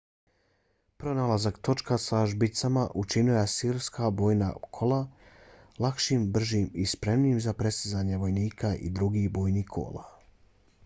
pronalazak točka sa žbicama učinio je asirska bojna kola lakšim bržim i spremnijim za prestizanje vojnika i drugih bojnih kola